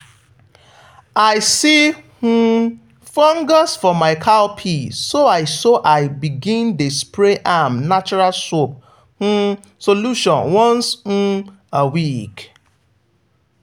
i see um fungus for my cowpea so i so i begin dey spray am natural soap um solution once um a week.